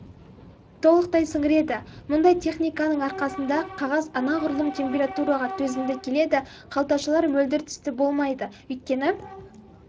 толықтай сіңіреді мұндай техниканың арқасында қағаз анағұрлым температураға төзімді келеді қалташалар мөлдір түсті болмайды өйткені